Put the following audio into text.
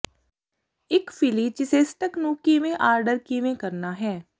ਇੱਕ philly cheesesteak ਨੂੰ ਕਿਵੇਂ ਆਰਡਰ ਕਿਵੇਂ ਕਰਨਾ ਹੈ